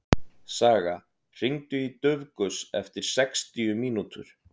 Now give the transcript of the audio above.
Saga, hringdu í Dufgus eftir sextíu mínútur.